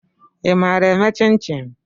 ị maara eme chin-chin?